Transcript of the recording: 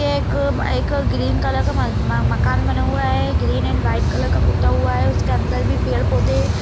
एक एक green colour का म मकान बना हुआ है ग्रीन एंड वाइट कलर का पुता हुआ है ऊसके अंदर भी पेड़ पौधे --